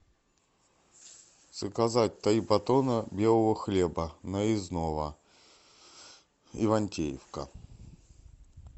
заказать три батона белого хлеба нарезного ивантеевка